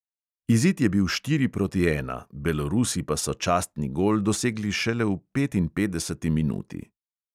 Izid je bil štiri proti ena, belorusi pa so častni gol dosegli šele v petinpetdeseti minuti.